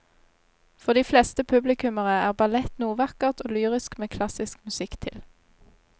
For de fleste publikummere er ballett noe vakkert og lyrisk med klassisk musikk til.